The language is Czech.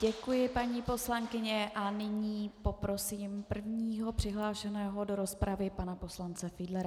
Děkuji, paní poslankyně, a nyní poprosím prvního přihlášeného do rozpravy, pana poslance Fiedlera.